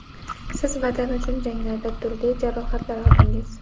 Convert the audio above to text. siz Vatan uchun janglarda turli jarohatlar oldingiz.